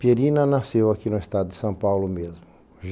Pierina nasceu aqui no estado de São Paulo mesmo.